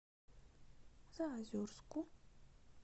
заозерску